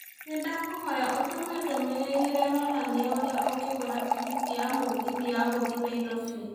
Nĩndakũhoya ũtũme ndũmĩrĩri ĩrĩa ĩronania ũrĩa ingĩgũra tigiti ya mũgithi ya gũthiĩ Nairobi